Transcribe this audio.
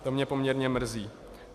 To mě poměrně mrzí.